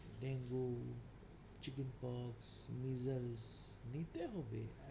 dengue, chicken pox নিতে হবে।